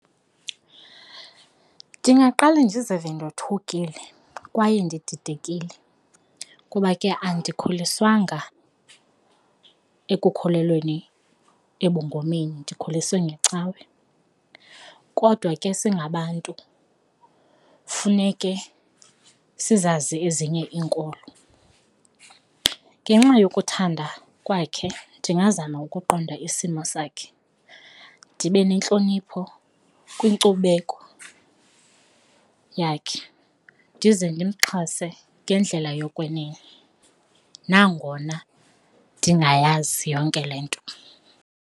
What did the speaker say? Ndingaqale ndizive ndothukile kwaye ndididekile kuba ke andikhuliswanga ekukhulelweni ebungomeni ndikhuliswe ngecawe kodwa ke singabantu funeke sizazi ezinye iinkolo. Ngenxa yokuthanda kwakhe ndingazama ukuqonda isimo sakhe, ndibe nentlonipho kwinkcubeko yakhe ndize ndimxhase ngendlela yokwenene nangona ndingayazi yonke le nto.